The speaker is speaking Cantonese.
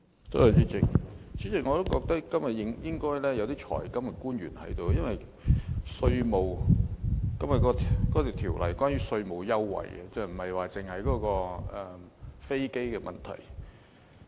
主席，我認為今天應該要有財金官員出席，因為《2017年稅務條例草案》是關於稅務優惠的，而不只是飛機的問題。